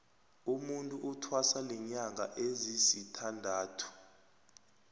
umutu uthwasa linyanga ezisithandathu